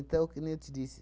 Então, que nem eu te disse,